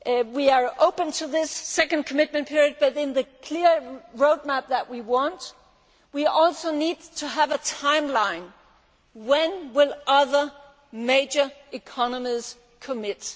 We are open to this second commitment period, but in the clear roadmap that we want we also need to have a timeline. When will other major economies commit?